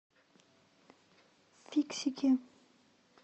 фиксики